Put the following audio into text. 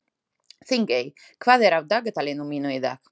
Þingey, hvað er á dagatalinu mínu í dag?